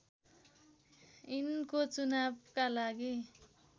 यिनको चुनावका लागि